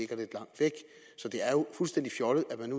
fuldstændig fjollet at man